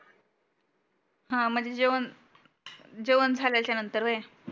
हा म्हणजे जेवण जेवण झाल्याच्या नंतर व्हाय